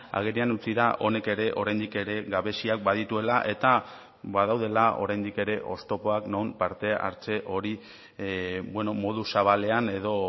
agerian utzi da honek ere oraindik ere gabeziak badituela eta badaudela oraindik ere oztopoak non parte hartze hori modu zabalean edo